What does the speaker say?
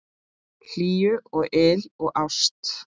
Hlýju og yl og ást.